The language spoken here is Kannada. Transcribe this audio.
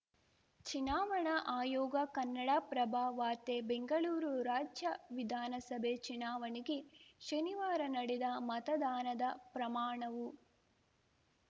ಚುನಾವಣಾ ಆಯೋಗ ಕನ್ನಡಪ್ರಭ ವಾರ್ತೆ ಬೆಂಗಳೂರು ರಾಜ್ಯ ವಿಧಾನಸಭೆ ಚುನಾವಣೆಗೆ ಶನಿವಾರ ನಡೆದ ಮತದಾನದ ಪ್ರಮಾಣವು